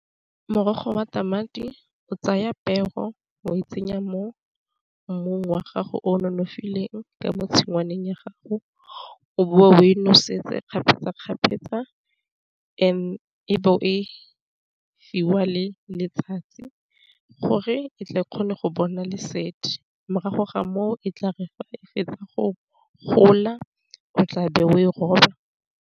Morogo batjha madi o tsaya peo o e tsenya mo mmung wa gago o nonofileng ka mo tshingwaneng ya gago, o bo o e noseditse kgapetsakgapetsa and e bo e fiwa le letsatsi, gore e tle e kgone go bona lesedi morago ga moo e tla e fetsa go gola o tla be o e roba.